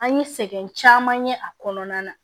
An ye sɛgɛn caman ye a kɔnɔna na